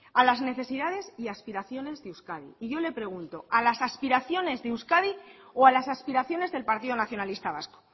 a las necesidades y aspiraciones de euskadi y yo le pregunto a las aspiraciones de euskadi o a las aspiraciones del partido nacionalista vasco